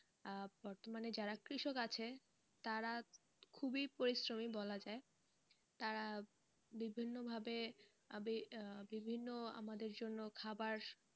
আহ বর্তমানে যারা কৃষক আছে তারা খুবই পরিশ্রমী বলা যায় তারা বিভিন্ন ভাবে, বিভিন্ন আমাদের জন্য খাওয়ার,